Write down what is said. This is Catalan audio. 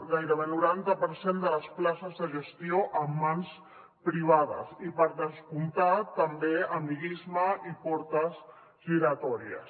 gairebé noranta per cent de les places de gestió en mans privades i per descomptat tam bé amiguisme i portes giratòries